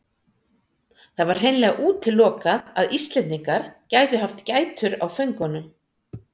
Það var hreinlega útilokað að Íslendingar gætu haft gætur á föngunum.